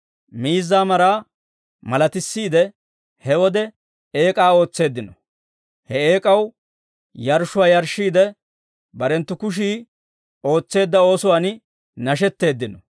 Miizzaa Maraa malatissiide, he wode eek'aa ootseeddino; he eek'aw yarshshuwaa yarshshiide, barenttu kushii ootseedda oosuwaan nashetteeddino.